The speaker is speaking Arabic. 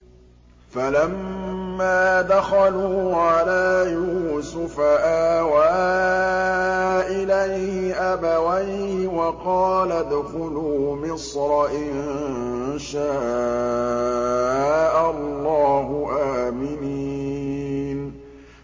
فَلَمَّا دَخَلُوا عَلَىٰ يُوسُفَ آوَىٰ إِلَيْهِ أَبَوَيْهِ وَقَالَ ادْخُلُوا مِصْرَ إِن شَاءَ اللَّهُ آمِنِينَ